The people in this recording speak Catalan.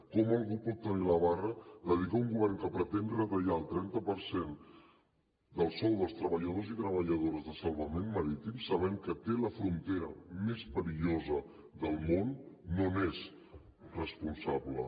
com algú pot tenir la barra de dir que un govern que pretén retallar el trenta per cent del sou dels treballadors i treballadores de salvament marítim sabent que té la frontera més perillosa del món no n’és responsable